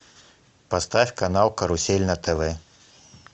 поставь канал карусель на тв